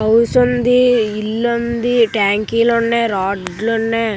house ఉంది ఇల్లు ఉంది ట్యాంక్‌లోని రోడ్లునే అన్ని--